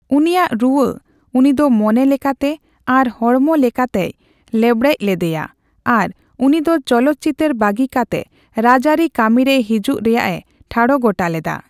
ᱩᱱᱤᱭᱟᱜ ᱨᱩᱣᱟᱹ ᱩᱱᱤ ᱫᱚ ᱢᱚᱱᱮ ᱞᱮᱠᱟᱛᱮ ᱟᱨ ᱦᱚᱲᱢᱚ ᱞᱮᱠᱟᱛᱮᱭ ᱞᱮᱵᱲᱮᱪ ᱞᱤᱫᱤᱭᱟ ᱟᱨ ᱩᱱᱤ ᱫᱚ ᱪᱚᱞᱚᱛ ᱪᱤᱛᱟᱹᱨ ᱵᱟᱹᱜᱤ ᱠᱟᱛᱮ ᱨᱟᱡᱟᱹᱨᱤ ᱠᱟᱹᱢᱤ ᱨᱮ ᱦᱤᱡᱩᱠ ᱨᱮᱭᱟᱜᱮ ᱴᱷᱟᱲ ᱜᱚᱴᱟ ᱞᱮᱫᱟ ᱾